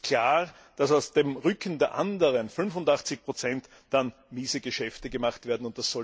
Es ist klar, dass auf dem Rücken der anderen 85 dann miese Geschäfte gemacht werden.